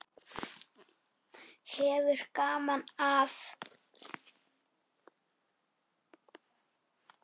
Hefur gaman af.